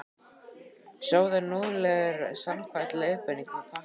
Sjóðið núðlurnar samkvæmt leiðbeiningum á pakkanum.